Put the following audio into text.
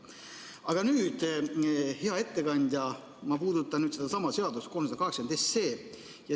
Aga nüüd, hea ettekandja, ma puudutan sedasama seaduseelnõu 380.